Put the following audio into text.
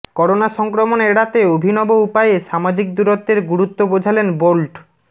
corona সংক্রমণ এড়াতে অভিনব উপায়ে সামাজিক দূরত্বের গুরুত্ব বোঝালেন বোল্ট